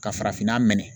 Ka farafinna mɛn